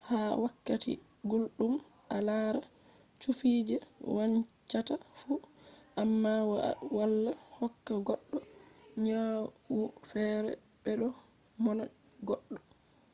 ha wakkati gulɗum a lara cufi je wancata fu. amma ma wala hokka goɗɗo nyawu feere bedo monna goɗɗo